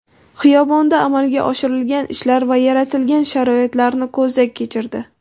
Xiyobonda amalga oshirilgan ishlar va yaratilgan sharoitlarni ko‘zdan kechirdi.